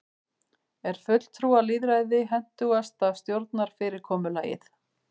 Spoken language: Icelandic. er fulltrúalýðræði hentugasta stjórnarfyrirkomulagið